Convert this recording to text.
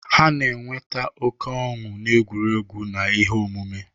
Ha na-enweta oke ọnụ n'egwuregwu na ihe omume.